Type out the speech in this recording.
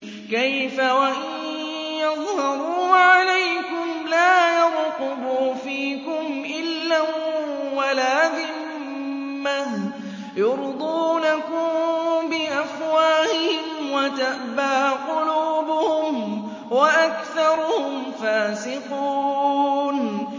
كَيْفَ وَإِن يَظْهَرُوا عَلَيْكُمْ لَا يَرْقُبُوا فِيكُمْ إِلًّا وَلَا ذِمَّةً ۚ يُرْضُونَكُم بِأَفْوَاهِهِمْ وَتَأْبَىٰ قُلُوبُهُمْ وَأَكْثَرُهُمْ فَاسِقُونَ